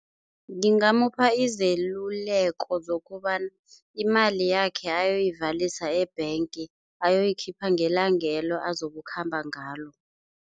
Ngingamupha izeluleko zokobana imali yakhe ayoyivalisa e-bank, ayoyikhipha ngelangelo azokukhamba ngalo.